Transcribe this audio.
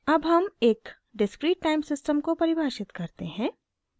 अब हम एक डिस्क्रीट टाइम सिस्टम को परिभाषित करते हैं